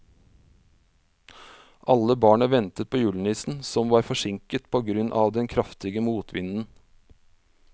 Alle barna ventet på julenissen, som var forsinket på grunn av den kraftige motvinden.